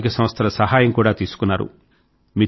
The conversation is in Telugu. సామాజిక సంస్థల సహాయం కూడా తీసుకున్నారు